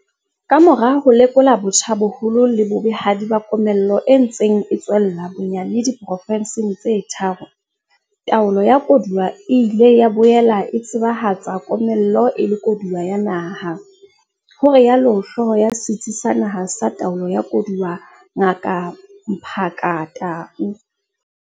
Ka mora ho lekola botjha boholo le bobehadi ba komello e ntseng e tswella bonyane di porofenseng tse tharo, taolo ya koduwa e ile ya boela e tseba hatsa komello e le koduwo ya naha, ho rialo hlooho ya Setsi sa Naha sa Taolo ya Koduwa, Ngaka Mmaphaka Tau.